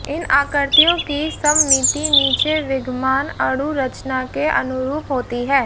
इन आकृतियों की सममिति नीचे विद्यमान अणु रचना के अनुरूप होती है